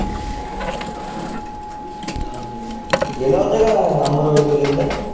हम्म तु गेला होता का अंबरवाडी ला गेलता?